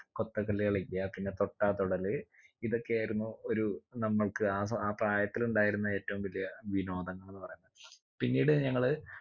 കൊത്ത കല്ല് കളിക്ക പിന്നെ തൊട്ടാ തൊടല് ഇതൊക്കെയായിരുന്നു ഒരു നമ്മക്ക് ആ ആ പ്രായത്തില് ഉണ്ടായിരുന്ന ഏറ്റവും വലിയ വിനോദങ്ങൾ എന്ന് പറയുന്നെ പിന്നീട് ഞങ്ങള്